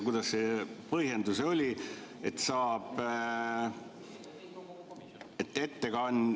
Kuidas see põhjendus oligi?